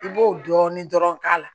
I b'o dɔɔnin dɔrɔn k'a la